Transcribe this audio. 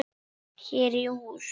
Hér í hús